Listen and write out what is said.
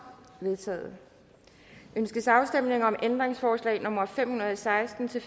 vedtaget ønskes afstemning om ændringsforslag nummer fem hundrede og seksten til